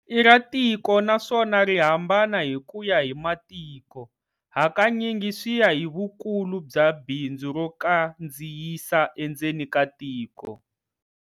I ra tiko naswona ri hambana hi ku ya hi matiko, hakanyingi swi ya hi vukulu bya bindzu ro kandziyisa endzeni ka tiko.